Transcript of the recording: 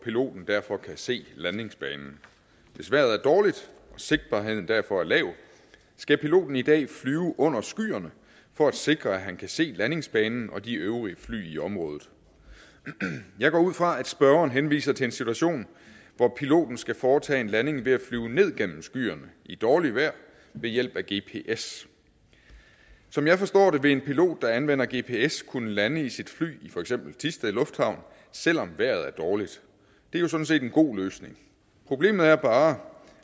piloten derfor kan se landingsbanen hvis vejret er dårligt og sigtbarheden derfor er lav skal piloten i dag flyve under skyerne for at sikre at han kan se landingsbanen og de øvrige fly i området jeg går ud fra at spørgeren henviser til en situation hvor piloten skal foretage en landing ved at flyve ned gennem skyerne i dårligt vejr ved hjælp af gps som jeg forstår det vil en pilot der anvender gps kunne lande i sit fly i for eksempel thisted lufthavn selv om vejret er dårligt det er jo sådan set en god løsning problemet er bare